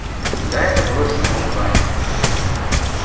когда это было в седьмом классе